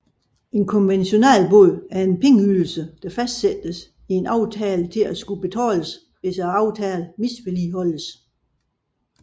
En konventionalbod er en pengeydelse der fastsættes i en aftale til at skulle betales hvis aftalen misligholdes